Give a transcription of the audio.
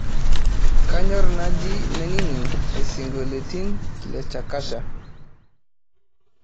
kanyor naaji nainining' isingolioitin le shakasha